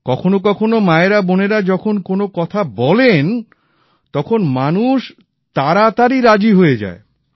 কখনো কখনো মায়েরা বোনেরা যখন কোন কথা বলেন তখন মানুষ তাড়াতাড়ি রাজি হয়ে যায়